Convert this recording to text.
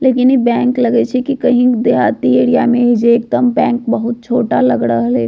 लेकिन इ बैंक लगय छै की कही देहाती एरिया में हेय जे बैंक बहुत छोटा लग रहले।